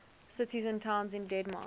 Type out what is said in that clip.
cities and towns in denmark